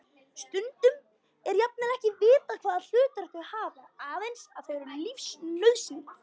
Stundum er jafnvel ekki vitað hvaða hlutverk þau hafa, aðeins að þau eru lífsnauðsynleg.